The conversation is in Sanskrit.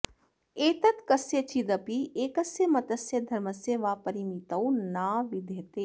एतत् कस्यचिदपि एकस्य मतस्य धर्मस्य वा परिमितौ न विद्यते